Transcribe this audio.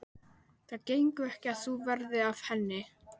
Það gengur ekki að þú verðir af henni.